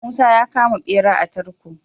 Musa ya kama bera a tarko